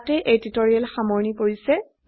আমৰা টিউটোৰিয়ালেৰ শেষে চলে এসেছি